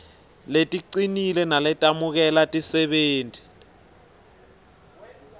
leticinile naletemukela tisebenti